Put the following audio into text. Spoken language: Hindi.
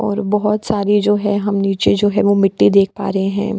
और बहुत सारी जो है हम नीचे जो है वो मिट्टी देख पा रहे हैं।